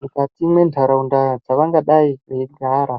mukati mwentaraunda dzavangadayi veyigara.